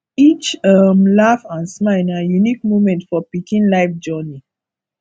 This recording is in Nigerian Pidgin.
each um laugh and smile na unique moment for pikin life journey